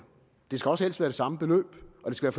det skal også helst være det samme beløb og det skal